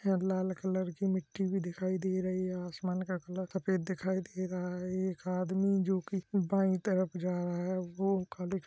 यहाँ लाल कलर की मिट्टी भी दिखाई दे रही है आसमान का कलर सफेद दिखाई दे रहा है एक आदमी जो की बाई तरफ जा रहा है वो खाली --